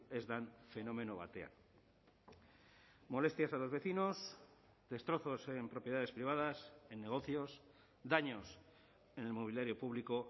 ez den fenomeno batean molestias a los vecinos destrozos en propiedades privadas en negocios daños en el mobiliario público